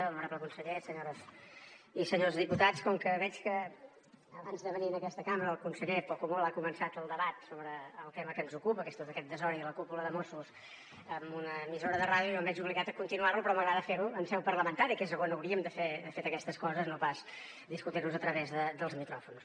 honorable conseller senyores i senyors diputats com que veig que abans de venir en aquesta cambra el conseller poc o molt ha començat el debat sobre el tema que ens ocupa que és tot aquest desori de la cúpula de mossos en una emissora de ràdio jo em veig obligat a continuar lo però m’agrada fer ho en seu parlamentària que és on hauríem de fer aquestes coses no pas discutir nos a través dels micròfons